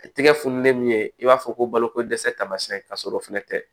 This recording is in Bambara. Tigɛ fununen min i b'a fɔ ko balo ko dɛsɛ tamasɛn ka sɔrɔ o fɛnɛ tɛ